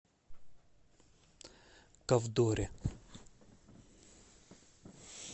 ковдоре